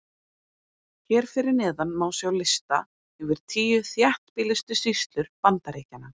Hér fyrir neðan má sjá lista yfir tíu þéttbýlustu sýslur Bandaríkjanna.